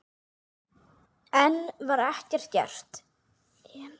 En ekkert var gert.